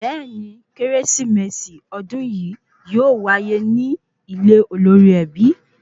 Bẹẹni, Kérésìmesì odun yìí yóò waye ni ile olórí ẹbí